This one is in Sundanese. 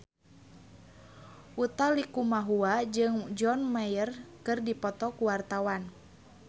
Utha Likumahua jeung John Mayer keur dipoto ku wartawan